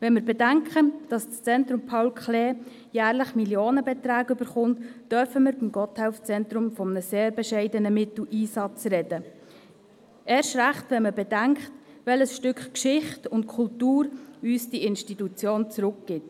Wenn wir bedenken, dass das Zentrum Paul Klee (ZPK) jährlich Millionenbeträge bekommt, dürfen wir beim Gotthelf-Zentrum von einem sehr bescheidenen Mitteleinsatz sprechen, erst recht, wenn man bedenkt, welches Stück Geschichte und Kultur uns diese Institution zurückgibt.